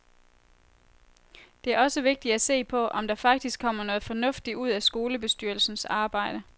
Det er også vigtigt at se på, om der faktisk kommer noget fornuftigt ud af skolebestyrelsens arbejde.